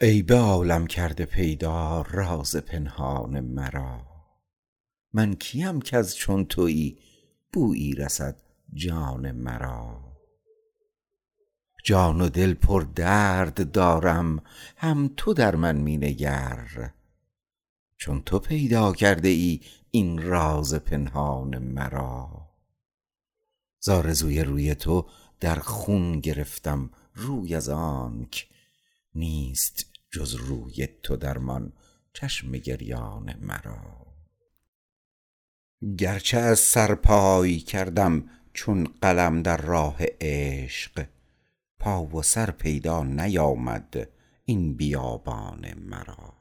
ای به عالم کرده پیدا راز پنهان مرا من کیم کز چون تویی بویی رسد جان مرا جان و دل پر درد دارم هم تو در من می نگر چون تو پیدا کرده ای این راز پنهان مرا ز آرزوی روی تو در خون گرفتم روی از آنک نیست جز روی تو درمان چشم گریان مرا گرچه از سرپای کردم چون قلم در راه عشق پا و سر پیدا نیامد این بیابان مرا